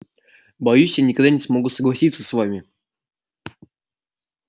боюсь я никогда не смогу согласиться с вами